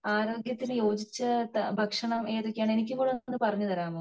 ആരോഗ്യത്തിന് യോജിച്ച ഭക്ഷണം ഏതൊക്കെയാണ് എനിക്ക് കൂടെ ഒന്ന് പറഞ്ഞ തരാവോ